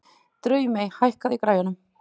Draumey, hækkaðu í græjunum.